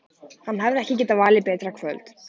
Hann hefði ekki getað valið betra kvöld.